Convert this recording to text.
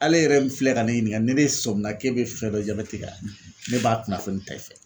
Ale yɛrɛ min filɛ ka ne ɲininka ni nesɔmi k'e bɛ fɛn dɔ jabɛti kan, ne b'a kunnafoni ta i fɛ